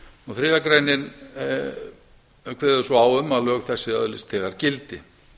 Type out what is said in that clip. þriðja grein kveður svo á um að lög þessi öðlist þegar gildi